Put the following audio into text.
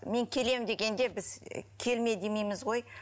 мен келем дегенде біз і келме демейміз ғой